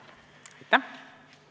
Aitäh!